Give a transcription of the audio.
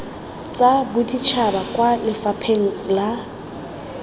tsa boditšhaba kwa lefapheng la